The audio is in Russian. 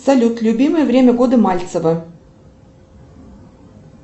салют любимое время года мальцева